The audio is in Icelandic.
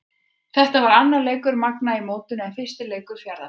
Þetta var annar leikur Magna í mótinu en fyrsti leikur Fjarðabyggðar.